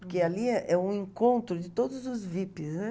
Porque ali é é um encontro de todos os VIPs, né?